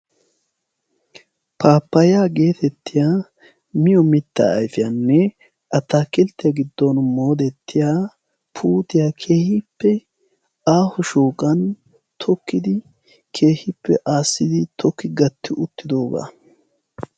Paappayaa geetettiya miyo mittaa aifiyaanne attaakilttiyaa giddon moodettiya puutiyaa kehiippe aahu shooqan tokkidi keehippe aassidi tooki gatti uttidoogaa.